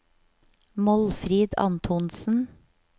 Målfrid Antonsen